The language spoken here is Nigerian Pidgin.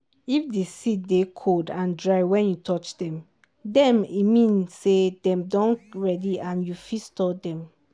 if di seed dey cold and dry wen you touch dem dem e mean say dem don ready and you fit store dem.